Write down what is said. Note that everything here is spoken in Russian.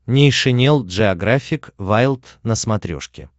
нейшенел джеографик вайлд на смотрешке